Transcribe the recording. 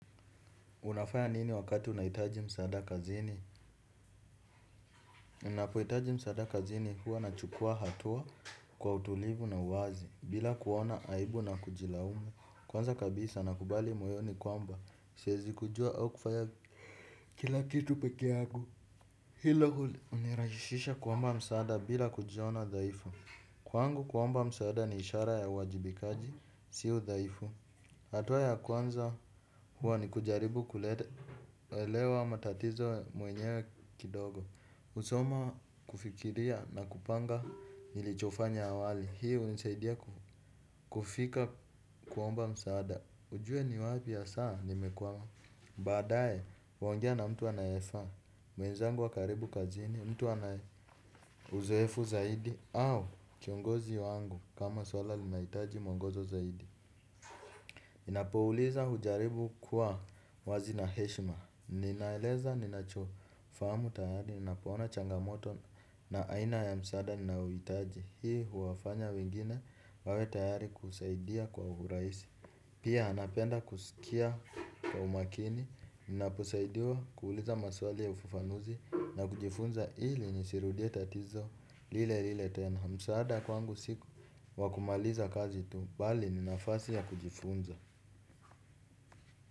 Unafaya nini wakati unaitaji msaada kazini? Ninapoitaji msaada kazini huwa nachukua hatua kwa utulivu na uwazi bila kuona aibu na kujilaumu. Kwanza kabisa nakubali moyoni kwamba. Siezi kujua au kufanya kila kitu pekeangu. Hilo hunirahishisha kuomba msaada bila kujiona dhaifu. Kwangu kuomba msada ni ishara ya uwajibikaji sio udhaifu. Hatuwa ya kwanza huwa ni kujaribu kuelewa matatizo mwenyewe kidogo. Usoma kufikiria na kupanga nilichofanya awali. Hii unisaidia kufika kuomba msaada. Ujue ni wapi asaa nimekwama. Baadaye, waongea na mtu anayefaa. Mwenzangu wa karibu kazini, mtu anaye uzoefu zaidi. Au kiongozi wangu kama swala linahitaji mwongozo zaidi. Napouliza hujaribu kuwa wazi na heshima. Ninaeleza, ninachofahamu tayari, ninapoona changamoto na aina ya msaada, ninaohitaji. Hii huwafanya wengine wawe tayari kusaidia kwa uraisi. Pia anapenda kusikia kwa umakini, ninaposaidiwa kuuliza maswali ya ufufanuzi. Na kujifunza hili nisiirudie tatizo, lile lile tena. Msaada kwangu si wa kumaliza kazi tu, bali ni nafasi ya kujifunza.